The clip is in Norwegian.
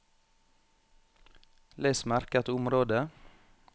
Les merket område